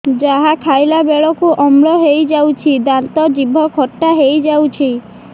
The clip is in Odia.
ଯାହା ଖାଇଲା ବେଳକୁ ଅମ୍ଳ ହେଇଯାଉଛି ଦାନ୍ତ ଜିଭ ଖଟା ହେଇଯାଉଛି